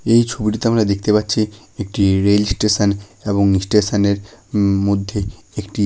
এই ছবিটিতে আমরা দেখতে পাচ্ছি একটি রেল স্টেশন এবং স্টেশন -এর মধ্যে একটি--